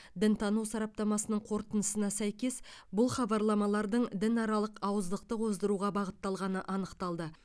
дінтану сараптамасының қорытындысына сәйкес бұл хабарламалардың дінаралық алауыздықты қоздыруға бағытталғаны анықталды